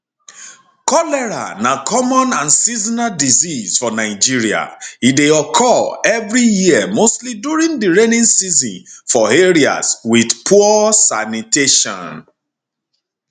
cholera na common and seasonal disease for nigeria e dey occur evri year mostly during di rainy season for areas wit poor sanitation